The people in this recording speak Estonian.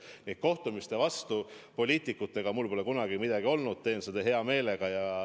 Poliitikutega kohtumise vastu mul pole kunagi midagi olnud, teen seda hea meelega.